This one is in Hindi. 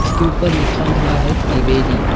इसके ऊपर लिखा हुआ है त्रिवेनी।